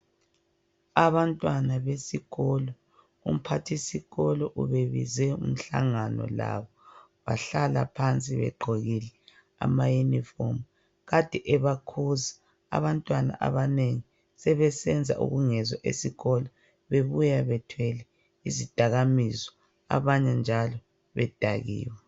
abantwana besikolo umphathisikolo ubebize umhlangano labo bahlala phansi begqokile ama uniform kade ebakhuza abantwana abanengi sebesenza ubungezwa esikolo bebuya bethwele izidakamizwa abanye njalo bedakiwe